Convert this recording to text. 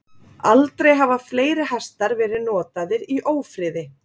Aldrei hafa fleiri hestar verið notaðir í ófriði.